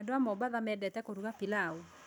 Andũ a Mombasa mendete kũruga pilaũ.